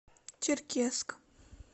черкесск